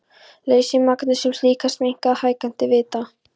Leysni magnesíum-silíkats minnkar með hækkandi hita.